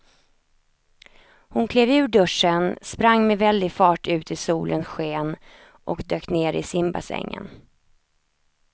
Hon klev ur duschen, sprang med väldig fart ut i solens sken och dök ner i simbassängen.